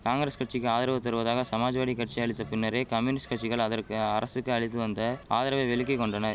காங்கரஸ் கட்சிக்கு ஆதரவு தருவதாக சமாஜ்வாடி கட்சி அளித்த பின்னரே கம்யூனிஸ்ட் கட்சிகள் அதற்கு அரசுக்கு அளித்து வந்த ஆதரவை விலக்கி கொண்டனர்